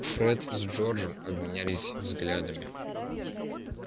фред с джорджем обменялись взглядами